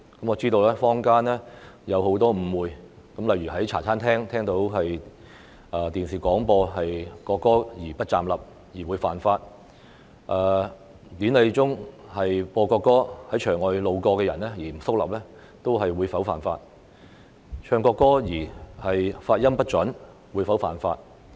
我知道坊間有很多誤會，例如說在茶餐廳聽到電視廣播國歌而不站立；或說典禮中播放國歌而在場外路過的人不肅立；或唱國歌發音不準，便屬犯法。